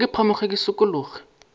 re ke phamoge ke šikologe